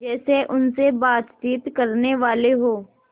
जैसे उनसे बातचीत करनेवाले हों